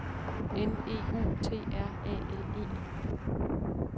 N E U T R A L E